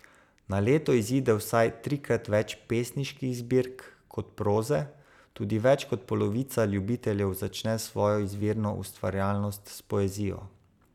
Na leto izide vsaj trikrat več pesniških zbirk kot proze, tudi več kot polovica ljubiteljev začne svojo izvirno ustvarjalnost s poezijo.